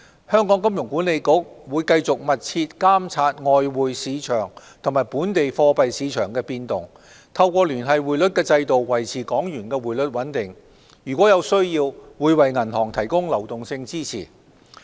香港金融管理局會繼續密切監察外匯市場及本地貨幣市場的變動、透過聯繫匯率制度維持港元匯率穩定，如有需要，會為銀行提供流動性支持。